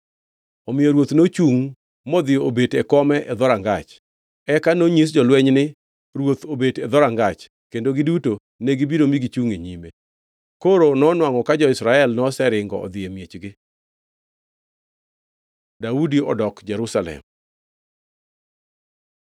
Omiyo ruoth nochungʼ modhi obet e kome e dhorangach. Eka nonyis jolweny ni, Ruoth obet e dhorangach, kendo giduto negibiro mi gichungʼ e nyime. Koro nonwangʼo ka jo-Israel noseringo odhi e miechgi. Daudi odok Jerusalem